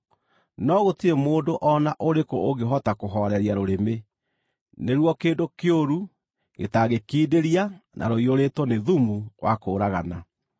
no gũtirĩ mũndũ o na ũrĩkũ ũngĩhota kũhooreria rũrĩmĩ. Nĩruo kĩndũ kĩũru gĩtangĩkindĩria na rũiyũrĩtwo nĩ thumu wa kũũragana.